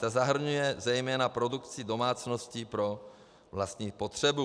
Ta zahrnuje zejména produkci domácností pro vlastní potřebu.